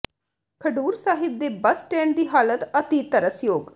ਖਡੂਰ ਸਾਹਿਬ ਦੇ bus stand ਦੀ ਹਾਲਤ ਅਤਿ ਤਰਸਯੋਗ